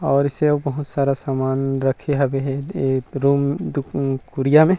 और इससे बहुत सारा समान रखे हवे हे एक रूम दु कुरिया मे--